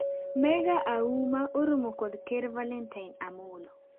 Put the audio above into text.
Mega Auma oromo kod ker Valentine Amollo